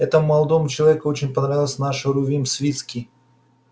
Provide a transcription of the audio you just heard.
этому молодому человеку очень понравился наш рувим свицкий